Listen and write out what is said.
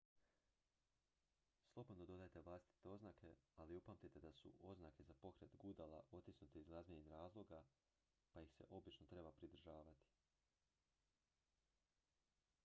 slobodno dodajte vlastite oznake ali upamtite da su oznake za pokret gudala otisnute iz glazbenih razloga pa ih se obično treba pridržavati